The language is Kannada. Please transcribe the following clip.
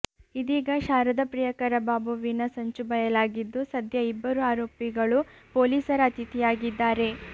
ಇದೀಗ ಶಾರದ ಪ್ರಿಯಕರ ಬಾಬುವಿನ ಸಂಚು ಬಯಲಾಗಿದ್ದು ಸದ್ಯ ಇಬ್ಬರು ಆರೋಪಿಗಳು ಪೊಲೀಸರ ಅತಿಥಿಯಾಗಿದ್ದಾರೆ